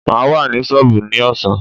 Maa wà ní sọọbù ní ọ̀sán.